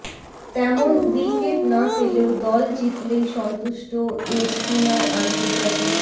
তেমন উইকেট না পেলেও দল জিতলেই সন্তুষ্ট এ স্পিনার আন্তর্জাতিক